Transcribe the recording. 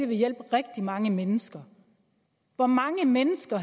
vil hjælpe rigtig mange mennesker hvor mange mennesker